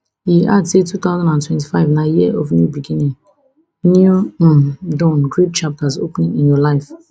e add say two thousand and twenty-five na year of new beginning new um dawn great chapters opening in your life